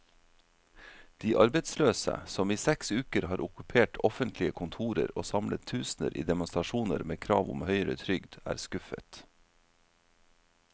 De arbeidsløse, som i seks uker har okkupert offentlige kontorer og samlet tusener i demonstrasjoner med krav om høyere trygd, er skuffet.